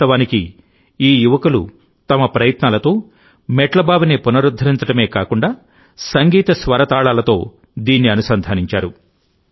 వాస్తవానికిఈ యువకులు తమ ప్రయత్నాలతో మెట్ల బావిని పునరుద్ధరించడమే కాకుండాసంగీత స్వరతాళాలతో దీన్ని అనుసంధానించారు